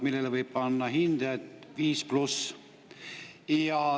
Sellele võib panna hinde viis pluss.